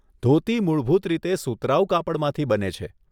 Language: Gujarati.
ધોતી મૂળભૂત રીતે સુતરાઉ કાપડમાંથી બને છે.